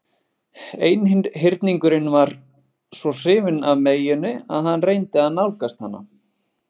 Einhyrningurinn var svo hrifinn af meyjunni að hann reyndi að nálgast hana.